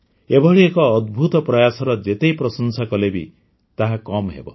ଏଭଳି ଏକ ଅଦ୍ଭୁତ ପ୍ରୟାସର ଯେତେ ପ୍ରଶଂସା କଲେ ବି ତାହା କମ୍ ହେବ